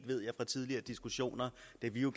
de